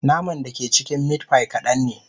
Naman da ke cikin meat pie kadan ne